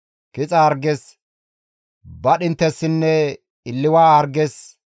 kixa harges, badhinttessinne illiwa harges,